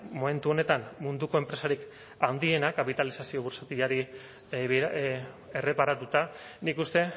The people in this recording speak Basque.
momentu honetan munduko enpresarik handiena kapitalizazio burtsatilari erreparatuta nik uste